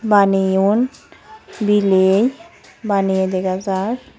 Baneyon bile baneye dega jar.